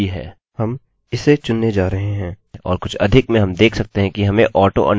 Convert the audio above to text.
हम इसे चुनने जा रहे हैं और कुछ अधिक में हम देख सकते हैं कि हमें auto underscore increment मिला है